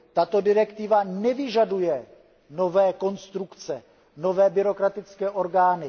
Tato direktiva nevyžaduje nové konstrukce, nové byrokratické orgány.